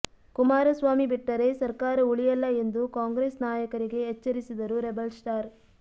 ಕುಮಾರಸ್ವಾಮಿ ಬಿಟ್ಟರೆ ಸರ್ಕಾರ ಉಳಿಯಲ್ಲ ಎಂದು ಕಾಂಗ್ರೆಸ್ ನಾಯಕರಿಗೆ ಎಚ್ಚರಿಸಿದರು ರೆಬಲ್ ಸ್ಟಾರ್